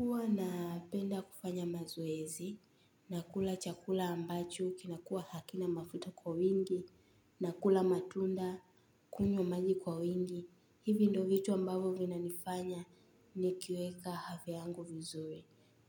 Uwa napenda kufanya mazoezi, na kula chakula ambacho, kinakua hakina mafuta kwa wingi, na kula matunda, kunywa maji kwa wingi. Hivi ndo vitu ambavo vina nifanya ni kiweka havia yangu vizuri.